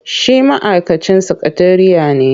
Shi ma'aikacin sakatariya ne.